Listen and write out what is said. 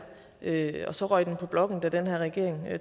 og så røg den på blokken da den her regering